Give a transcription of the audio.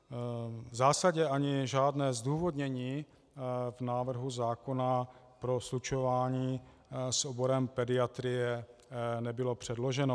V zásadě ani žádné zdůvodnění v návrhu zákona pro slučování s oborem pediatrie nebylo předloženo.